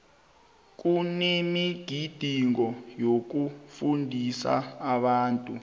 kunemigidingo yokufundisa abantu